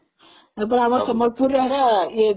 ଆମ ସମ୍ବଲପୁରର ଏଗୁଡା